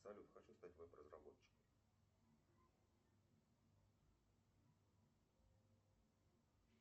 салют хочу стать веб разработчиком